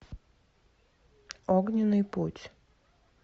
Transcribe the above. огненный путь